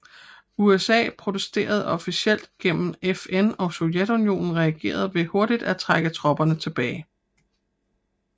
USA protesterede officielt gennem FN og Sovjetunionen reagerede ved hurtigt at trække tropperne tilbage